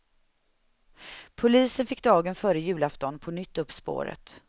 Polisen fick dagen före julafton på nytt upp spåret.